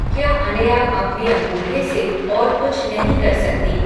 क्या अनया अपने अंगूठे से और कुछ नहीं कर सकती?